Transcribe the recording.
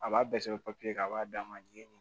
A b'a bɛɛ sɛbɛn papiye kan a b'a d'a ma jeni